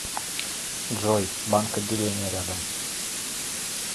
джой банк отделения рядом